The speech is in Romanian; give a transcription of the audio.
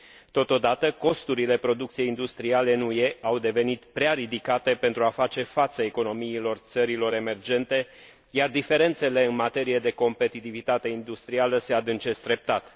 Totodată, costurile producției industriale în UE au devenit prea ridicate pentru a face față economiilor țărilor emergente, iar diferențele în materie de competitivitate industrială se adâncesc treptat.